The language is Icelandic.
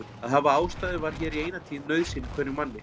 Að hafa ástæðu var hér í eina tíð nauðsyn hverjum manni.